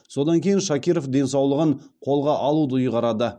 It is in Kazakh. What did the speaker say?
содан кейін шакиров денсаулығын қолға алуды ұйғарады